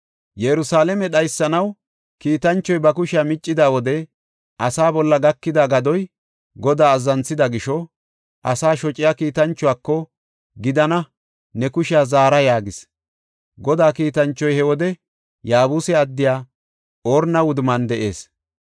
Yerusalaame dhaysanaw kiitanchoy ba kushiya miccida wode asaa bolla gakida gadoy Godaa azzanthida gisho, asaa shociya kiitanchuwako, “Gidana! Ne kushiya zara” yaagis. Godaa kiitanchoy he wode Yaabuse addiya Orna wudumman de7ees.